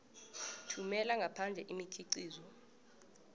thumela ngaphandle imikhiqizo